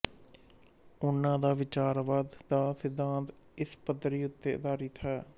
ਉਨ੍ਹਾਂ ਦਾ ਵਿਚਾਰਵਾਦ ਦਾ ਸਿੱਧਾਂਤ ਇਸ ਪੱਧਤੀ ਉੱਤੇ ਆਧਾਰਿਤ ਹੈ